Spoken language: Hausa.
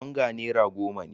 Onga naira goma ne.